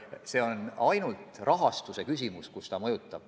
Seda mõjutab ainult rahastamine.